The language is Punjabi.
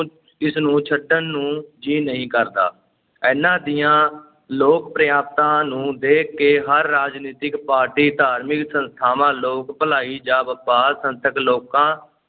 ਇਸਨੂੰ ਛੱਡਣ ਨੂੰ ਜੀਅ ਨਹੀਂ ਕਰਦਾ, ਇਹਨਾਂ ਦੀਆਂ ਲੋਕ-ਪ੍ਰਿਅਤਾ ਨੂੰ ਦੇਖ ਕੇ ਹਰ ਰਾਜਨੀਤਿਕ ਪਾਰਟੀ, ਧਾਰਮਿਕ ਸੰਸਥਾਵਾਂ, ਲੋਕ-ਭਲਾਈ ਜਾਂ ਵਪਾਰ ਸੰਸਥਕ ਲੋਕਾਂ